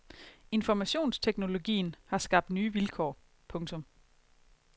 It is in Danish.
Informationsteknologien har skabt nye vilkår. punktum